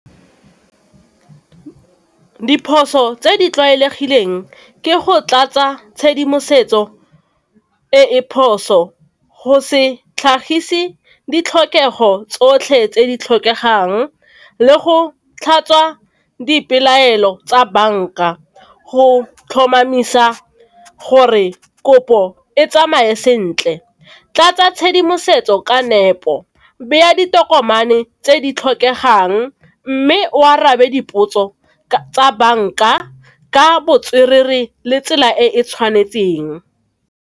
Diphoso tse di tlwaelegileng ke go tlatsa tshedimosetso e e phoso, go se tlhagise ditlhokego tsotlhe tse di tlhokegang, tlhatswa dipelaelo tsa bank-a go tlhomamisa gore kopo e tsamaye sentle. Tlatsa tshedimosetso ka nepo, beya ditokomane tse di tlhokegang mme o arabe dipotso tsa bank-a ka le tsela e e tshwanetseng.